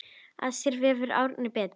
Að sér vefur Árna betur